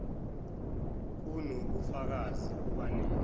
kuno bufakazi obanele